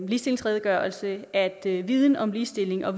ligestillingsredegørelse at viden om ligestilling og